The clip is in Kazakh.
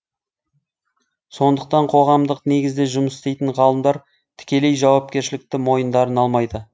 сондықтан қоғамдық негізде жұмыс істейтін ғалымдар тікелей жауапкершілікті мойындарына алмайды